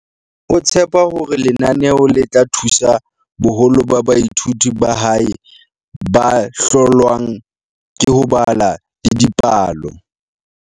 o tshepa hore lenaneo le tla thusa boholo ba baithuti ba hae ba hlo lwang ke ho bala le dipalo.